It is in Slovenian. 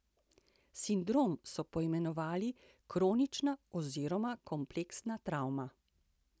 Sindrom so poimenovali kronična oziroma kompleksna travma.